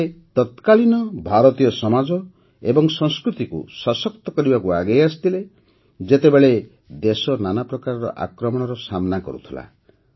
ସେ ତତ୍କାଳୀନ ଭାରତୀୟ ସମାଜ ଏବଂ ସଂସ୍କୃତିକୁ ସଶକ୍ତ କରିବାକୁ ଆଗେଇ ଆସିଥିଲେ ଯେତେବେଳେ ଦେଶ ନାନା ପ୍ରକାର ଆକ୍ରମଣର ସାମନା କରୁଥିଲା